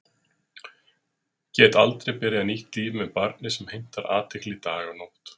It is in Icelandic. Get aldrei byrjað nýtt líf með barni sem heimtar athygli dag og nótt.